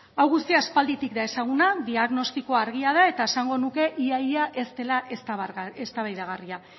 hau guztia aspalditik da ezaguna diagnostikoa argia da eta esango nuke ia ia ez dela eztabaidagarria